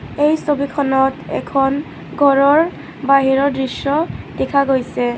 এই ছবিখনত এখন ঘৰৰ বাহিৰৰ দৃশ্য দেখা গৈছে.